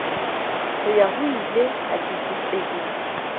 ho ya hoile a keketehisa